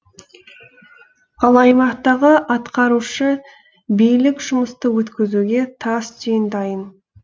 ал аймақтағы атқарушы билік жұмысты өткізуге тас түйін дайын